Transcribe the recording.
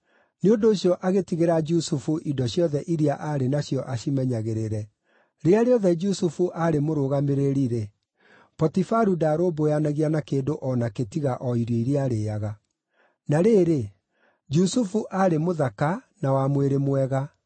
Nĩ ũndũ ũcio agĩtigĩra Jusufu indo ciothe iria aarĩ nacio acimenyagĩrĩre; rĩrĩa rĩothe Jusufu aarĩ mũrũgamĩrĩri-rĩ, Potifaru ndarũmbũyanagia na kĩndũ o nakĩ tiga o irio iria aarĩĩaga. Na rĩrĩ, Jusufu aarĩ mũthaka na wa mwĩrĩ mwega,